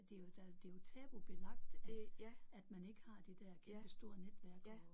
Det er jo der er jo det er jo tabubelagt at at man ikke har det der kæmpestore netværk og